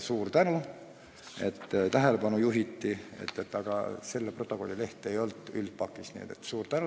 Suur tänu, et sellele tähelepanu juhiti, aga selle protokolli leht ei olnud dokumentide üldpakis.